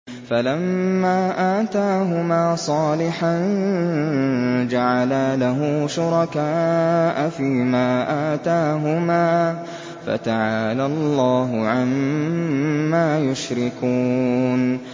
فَلَمَّا آتَاهُمَا صَالِحًا جَعَلَا لَهُ شُرَكَاءَ فِيمَا آتَاهُمَا ۚ فَتَعَالَى اللَّهُ عَمَّا يُشْرِكُونَ